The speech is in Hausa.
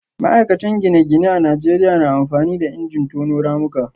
ma'aikatan gine-gine a Najeriya na amfani da injin tono ramuka